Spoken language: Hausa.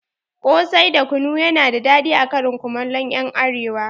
Ƙosai da kunu yana da daɗi a karin komallon ƴan arewa